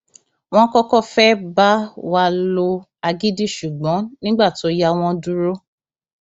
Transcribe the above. wọn kọkọ fẹẹ bá wa lo agídí ṣùgbọn nígbà tó yá wọn dúró